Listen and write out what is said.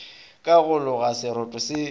ka go loga seroto se